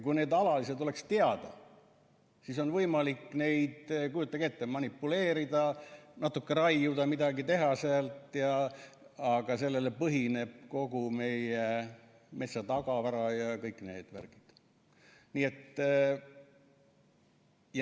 Kui need alalised oleksid teada, siis on võimalik neid, kujutage ette, manipuleerida, natuke raiuda, midagi teha seal, aga sellel põhineb kogu meie metsatagavara ja kõik need värgid.